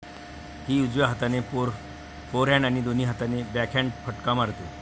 ही उजव्या हाताने फोरहँड आणि दोन्ही हाताने बॅकहँड फटका मारते.